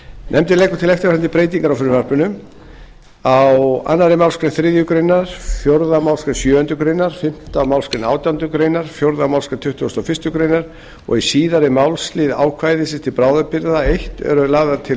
nefndin leggur til eftirfarandi breytingar á frumvarpinu fyrstu á annarri málsgrein þriðju grein fjórðu málsgrein sjöundu greinar fimmtu málsgrein átjándu grein fjórðu málsgrein tuttugustu og fyrstu grein og í síðari málslið ákvæðis til bráðabirgða fyrsta eru lagðar til